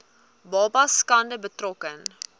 babas skade berokken